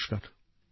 নমস্কার